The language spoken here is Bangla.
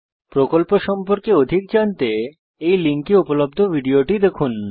প্রকল্প সম্পর্কে অধিক জানতে এই লিঙ্কে উপলব্ধ ভিডিওটি দেখুন